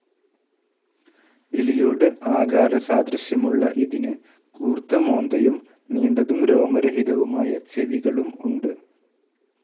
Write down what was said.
എലിയോട് ആകാരസാദൃശ്യമുള്ള ഇതിന് കൂർത്ത മോന്തയും, നീണ്ടതും രോമരഹിതവുമായ ചെവികളും ഉണ്ട്.